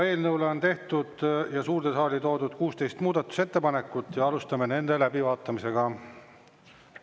Eelnõu kohta on tehtud ja suurde saali toodud 16 muudatusettepanekut ja alustame nende läbivaatamist.